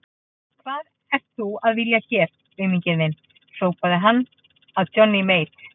Hvað ert þú að vilja hér auminginn þinn, hrópaði hann að Johnny Mate.